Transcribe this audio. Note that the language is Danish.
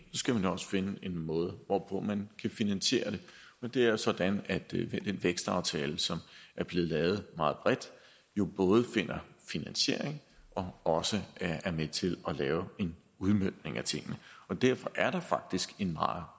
skal man også finde en måde hvorpå man kan finansiere det og det er sådan at vi i den vækstaftale som er blevet lavet meget bredt jo både finder finansiering og også er med til at lave en udmøntning af tingene og derfor er der faktisk en meget